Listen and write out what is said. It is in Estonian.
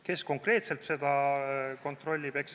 Kes konkreetselt seda kontrollib?